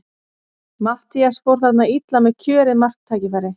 Matthías fór þarna illa með kjörið marktækifæri.